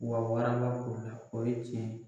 Wa warala k'o la, o ye tiɲɛ ye.